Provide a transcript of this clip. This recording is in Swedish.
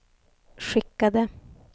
skickade